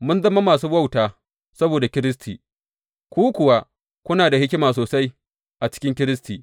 Mun zama masu wauta saboda Kiristi, ku kuwa kuna da hikima sosai a cikin Kiristi!